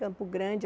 Campo Grande.